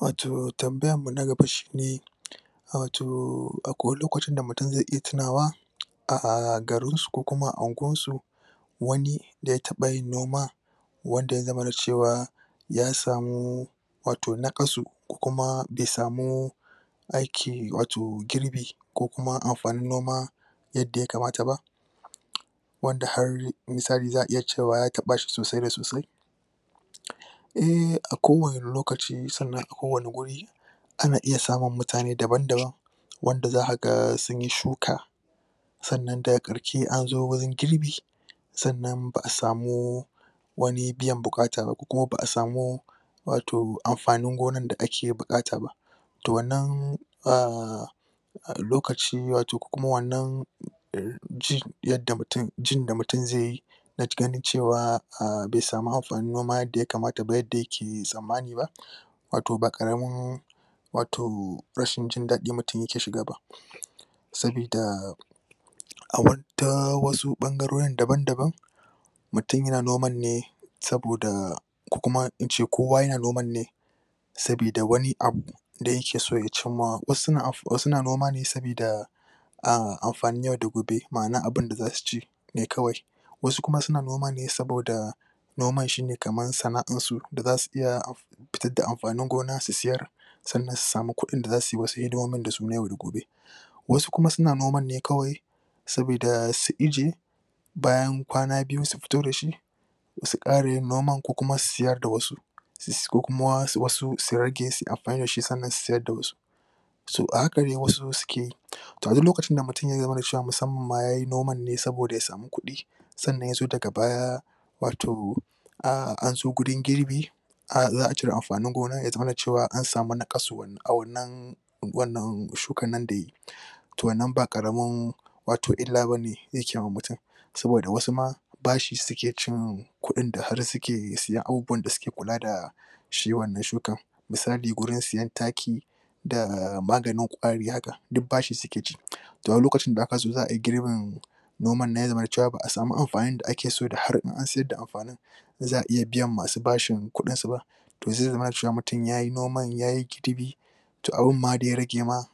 Wato tambayan mu na gaba shi ne wato akwai wane lokaci da mutum zai iya tunawa a garin su ko kuma a anguwan su wane da ya taba yin noma wanda ya zamana cewa ya samu wato nakasu kuma de samu aiki wato girbi yadda ya kamata ba wadda har misali za'a iya cewa ya taba shi sosai da sosai e' a kowane lokaci ko wane wuri ana iya samun mutane daban-daban wanda zaka ga sunyi shuka sannan daga in an zo wurin girbi, sannan ba'a samu wani biyan bukatar kuma ba'a samu wato amfanin gonan da ake bukata ba toh wannan a' lokaci wato ko kuma wannan ji yadda mutum, jin da mutum zai yi da ganin cewa a be samu amfanin noma yadda ya kamata yadda yake samani ba wato ba karamin wato rashin jin dadi mutum yake shiga ba sabida wasu bangaroren daban-daban mutum yana noman ne saboda ko kuma ince kowa yana noman ne sabida wane abu da yake so ya cinma, wasu suna noma ne sabida amfanin yau da gobe, ma'ana abin da za su ci ne kawai wasu kuma suna noma ne saboda noman shi ne kaman sana'an su da za su iya da amfanin gona su sayar tsannan su samu kudin da za suyi wasu hidimomin yau da gobe Wasu kuma suna noman ne kawai sabida su ije bayan kwana biyu su fito da shi su kara yin noman ko kuma su sayar da wasu. ko kuma wasu su rage, suna amfani da shi sanar su sayar da wasu so, a haka dai wasu suke toh duk lokacin da mutum ya zamana cewa musamman yayi noman ne saboda ya samu kudi sannan ya zo daga baya wato, an zo wurin girbi a' za'a cire amfanin gona ya zamana cewa an samu na a wannan wannan shukan nan da yayi. Toh wannan ba karamin wato illa bane yake wa mutum saboda wasu ma bashi suke ci kudin da har suke siyan abubuwan da suke kula da shi wannan shukan, misali, wurin siyan taki da maganin kwari haka, duk bashi suke ci, toh wane lokaci da aka zo za ayi girbin noman na zai zamana cewa ba'a samu amfanin in da ake so da har an sayar da amfanin za'a iya biyan masu bashi kudin su ba toh zai zama cewa mutum yayi noman yayi gidibe toh abun ma ya rage ma